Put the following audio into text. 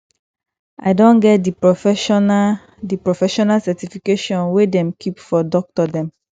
i don get di professional di professional certification wey dem keep for doctor dem